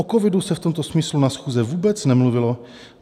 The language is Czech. O covidu se v tomto smyslu na schůzce vůbec nemluvilo.